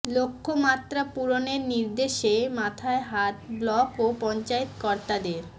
লক্ষ্যমাত্রা পূরণের নির্দেশে মাথায় হাত ব্লক ও পঞ্চায়েত কর্তাদের